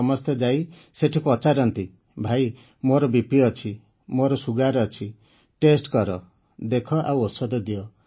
ସମସ୍ତେ ଯାଇ ସେଠି ପଚାରନ୍ତି ଭାଇ ମୋର ବିପି ଅଛି ମୋର ସୁଗର ଅଛି ଟେଷ୍ଟ କର ଦେଖ ଆଉ ଔଷଧ ଦିଅ